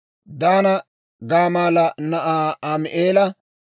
Daana baggappe Gamaalla na'aa Ami'eela;